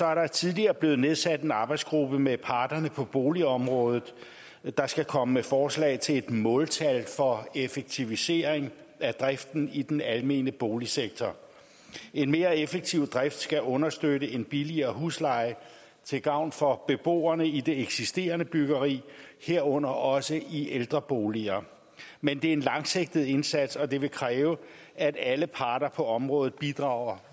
er der tidligere blevet nedsat en arbejdsgruppe med parterne på boligområdet der skal komme med forslag til et måltal for effektivisering af driften i den almene boligsektor en mere effektiv drift skal understøtte en billigere husleje til gavn for beboerne i det eksisterende byggeri herunder også i ældreboliger men det er en langsigtet indsats og det vil kræve at alle parter på området bidrager